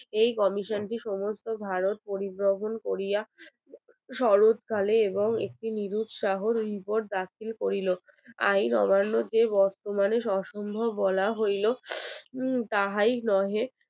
শরৎকালে এবং একটি শহর রাত্রি করিল। আইন অমান্য যে বর্তমানে অসম্ভব বলা হইল তাহাই নহে